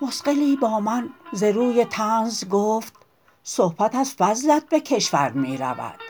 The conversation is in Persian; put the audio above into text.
مثقلی با من ز روی طنز گفت صحبت از فضلت به کشور می رود